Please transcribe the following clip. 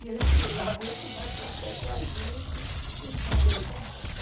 Meu tio lá veio tomar café com a gente e conversamos.